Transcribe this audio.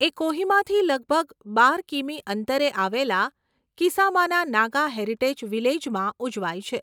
એ કોહિમાથી લગભગ બાર કિમી અંતરે આવેલા કિસામાના નાગા હેરિટેજ વિલેજમાં ઉજવાય છે.